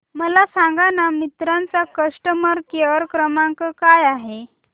मला सांगाना मिंत्रा चा कस्टमर केअर क्रमांक काय आहे